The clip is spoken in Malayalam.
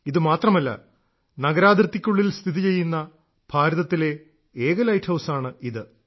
ഇതു മാത്രമല്ല നഗരാതിർത്തിക്കുള്ളിൽ സ്ഥിതിചെയ്യുന്ന ഭാരതത്തിലെ ഏക ലൈറ്റ് ഹൌസാണ് ഇത്